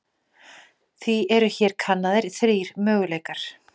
Því eru hér kannaðir þrír möguleikar.